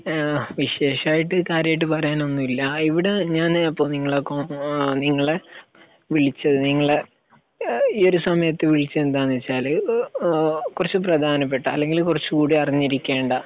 ഏഹ് വിശേഷമായിട്ട് കാര്യമായിട്ട് പറയാനൊന്നും ഇല്ല. ഇവിടെ ഞാൻ അപ്പൊ നിങ്ങളെ അപ്പൊ നിങ്ങളെ വിളിച്ചത് നിങ്ങളെ ഏഹ് ഈ ഒരു സമയത്ത് വിളിച്ചത് എന്താണെന്ന് വെച്ചാല് ഇപ്പൊ ഒരു കുറച്ച് പ്രധാനപ്പെട്ട അല്ലെങ്കിൽ കുറച്ചും കൂടി അറിഞ്ഞിരിക്കേണ്ട